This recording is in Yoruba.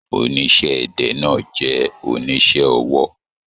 Oníṣẹ́-ẹdẹ náà jẹ oníṣẹ́ ọwọ́.